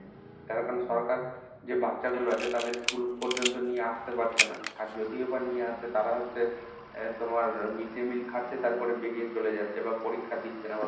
তার কারণ সরকার যে বাচ্চাগুলো আছে তাদের schoolপর্যন্ত নিয়ে আসতে পারছে না। আর যদিও বা নিয়ে আসে তারা হচ্ছে তোমার আহ mid day meal খাচ্ছে তারপরে বেরিয়ে চলে যাচ্ছে বা পরীক্ষা দিচ্ছে না